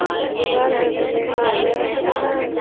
दीवार में पंखा लगाया हुआ है।